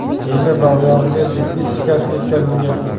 beli va oyog‘iga jiddiy shikast yetkazilgan.